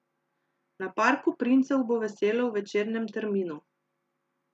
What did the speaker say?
Na Parku princev bo veselo v večernem terminu.